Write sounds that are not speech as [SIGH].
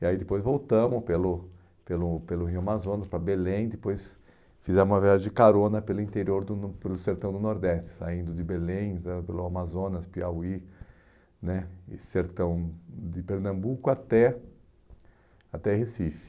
E aí depois voltamos pelo pelo pelo Rio Amazonas para Belém, depois fizemos uma viagem de carona pelo interior, [UNINTELLIGIBLE] pelo sertão do Nordeste, saindo de Belém, entrando pelo Amazonas, Piauí né, e sertão de Pernambuco até até Recife.